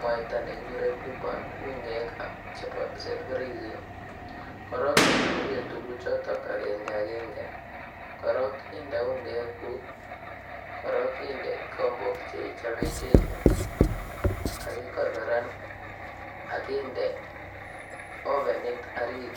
mwaita ne kigure blueband ungek chebo self raising. Kora ituiye tuguchoto agenge agenge, korong inde ungek kigombok chei choben kegit ak ikorokan ak inde ovenit orit.